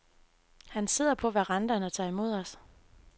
Han sidder på verandaen og tager imod os.